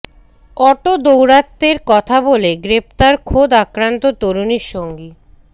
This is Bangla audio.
অটো দৌরাত্ম্যের কথা বলে গ্রেফতার খোদ আক্রান্ত তরুণীর সঙ্গী